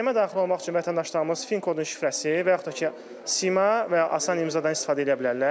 Sistemə daxil olmaq üçün vətəndaşlarımız fin kodun şifrəsi və yaxud da ki, Sima və asan imzadan istifadə edə bilərlər.